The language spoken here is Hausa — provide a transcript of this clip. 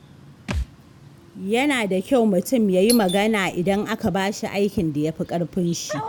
Yana da kyau mutum ya yi magana idan aka bashi aikin da ya fi ƙarfin shi.